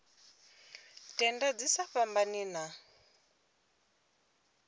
tenda dzi sa fhambani na